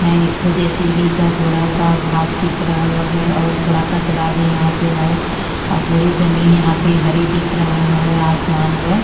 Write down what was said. है एक ठो जे.सी.बी. क थोड़ा सा भाग दिख रहल हउवे और थोड़ा स कचड़ा भी यहाँँ पे हौ औ थोड़ी ज़मीन यहाँँ पे हरी दिख रहल हवे। आसमान हुए।